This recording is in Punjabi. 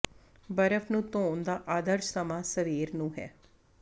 ਬਰਫ਼ ਨੂੰ ਧੋਣ ਦਾ ਆਦਰਸ਼ ਸਮਾਂ ਸਵੇਰ ਨੂੰ ਹੈ